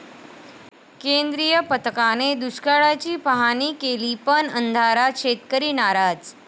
केंद्रीय पथकाने दुष्काळाची पाहाणी केली पण अंधारात, शेतकरी नाराज!